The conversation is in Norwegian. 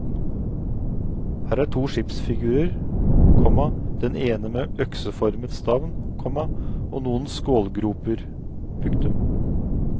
Her er to skipsfigurer, komma den ene med økseformet stavn, komma og noen skålgroper. punktum